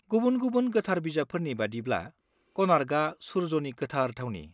गुबुन-गुबुन गोथार बिजाबफोरनि बायदिब्ला, क'नार्कआ सुर्यनि गोथार थावनि।